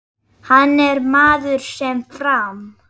Hann er maður sem fram